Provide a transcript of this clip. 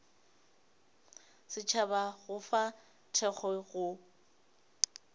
setšhaba go fa thekgo go